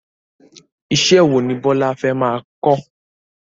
Iṣẹ́ wo ni Bọ́lá fẹ́ máa kọ́?